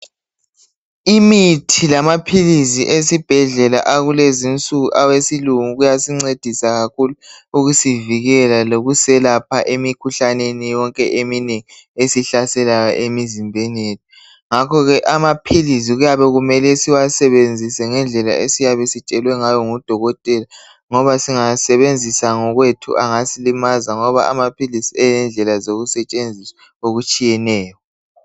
Imithi lamaphilizi esibhedlela akulezi nsuku awesilungu kuyasincedisa kakhulu ukusivikela lokuselapha emikhuhlaneni yonke eminengi esihlaselayo emizimbeni yethu ngakhoke amaphilizi kuyabe kumele siwasebenzise ngendlela esiyabe sitshelwe ngayo ngudokotela ngoba singawa sebenzisa ngokwethu angasilimaza ngoba amaphilizi elendlela zokusetshenziswa okutshiyeneyo.